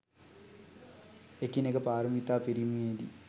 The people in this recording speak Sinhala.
එකිනෙක පාරමිතා පිරීමේ දී,